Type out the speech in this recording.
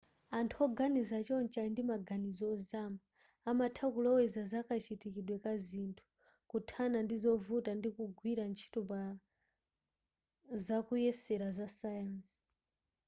anthu oganiza chonchi ali ndi maganizo ozama amatha kuloweza zakachitikidwe ka zinthu kuthana ndi zovuta ndi kugwira ntchito pa zakuyesera za sayansi